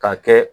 Ka kɛ